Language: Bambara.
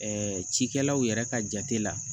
cikɛlaw yɛrɛ ka jate la